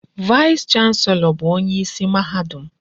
Vaịs chanselọ bụ onyeisi mahadum.